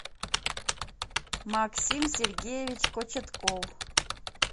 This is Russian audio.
максим сергеевич кочетков